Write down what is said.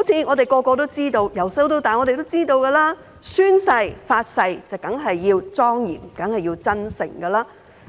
每個人自小便知道，宣誓、發誓當然要莊嚴和真誠，